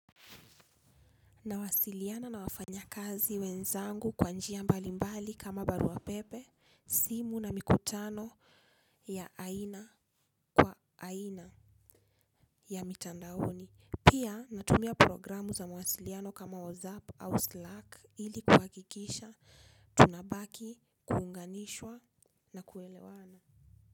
Nawasiliana na wafanya kazi wenzangu kwa njia mbalimbali kama barua pepe, simu na mikutano ya aina kwa aina ya mitandaoni. Pia natumia programu za mawasiliano kama WhatsApp au Slack ili kuhakikisha tunabaki kuunganishwa na kuelewana.